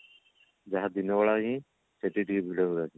ଯାହା ଦିନ ବେଳା ହିଁ ସେଠି ଟିକେ ଭିଡ ରୁହେ